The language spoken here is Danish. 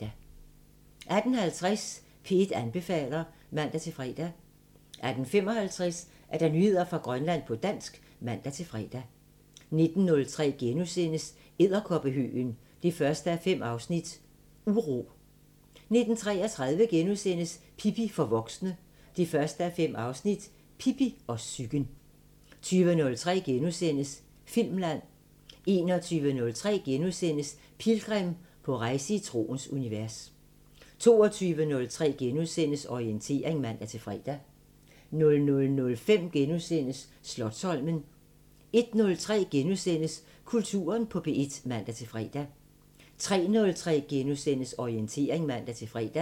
18:50: P1 anbefaler (man-fre) 18:55: Nyheder fra Grønland på dansk (man-fre) 19:03: Edderkoppehøgen 1:5 – Uro * 19:33: Pippi for voksne 1:5 – Pippi og psyken * 20:03: Filmland * 21:03: Pilgrim – på rejse i troens univers * 22:03: Orientering *(man-fre) 00:05: Slotsholmen * 01:03: Kulturen på P1 *(man-fre) 03:03: Orientering *(man-fre)